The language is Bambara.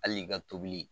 Hali i ka tobili